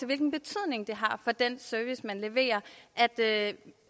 hvilken betydning det har for den service man leverer at